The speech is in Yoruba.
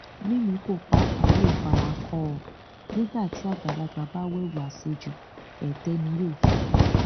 mímíkọ pàápàá yóò fara kọ ọ nígbà tí àgbàlagbà bá wewu àṣejù ètè ni yóò fi rí